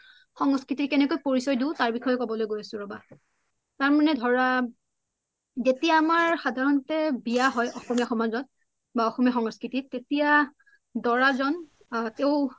বা আমাৰ সংস্কৃতিৰ আমি কেনেকৈ পৰিচই দিও তকে কবলই গই আছু ৰবা তাৰ্ মানে ধৰা যেতিয়া আমাৰ সাধাৰণতে বিয়া হয় অসমীয়া সমাজত বা অসমীয়া সংস্কৃতিত তেতিয়া দৰা জন আ তেও